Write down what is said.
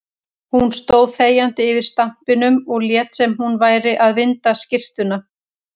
Hún stóð þegjandi yfir stampinum og lét sem hún væri að vinda skyrtuna.